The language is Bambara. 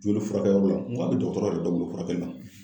Joli furakɛyɔrɔ la. N ko hali dɔgɔtɔrɔ yɛrɛ dɔw bolo furakɛli ma.